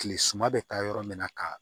Kile suma bɛ taa yɔrɔ min na ka